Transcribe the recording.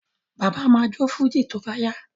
Bàbá ma jó fújì tó bá yá